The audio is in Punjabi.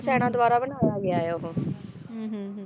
ਸੈਨਾ ਦੁਆਰਾ ਬਣਾਇਆ ਗਿਆ ਆ ਉਹ ਹੁੰ ਹੁੰ